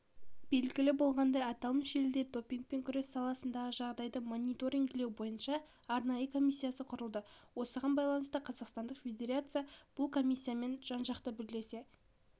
белгілі болғандай аталмыш елде дипингпен күрес саласындағы жағдайды мониторингілеу бойынша арнайы комиссиясы құрылады осыған байланысты қазақстандық федерация бұл комиссиямен жан-жақты бірлесе